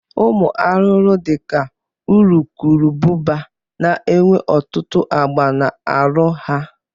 Ụmụ arụrụ dị ka urukurubụba na-enwe ọtụtụ agba na arụ ha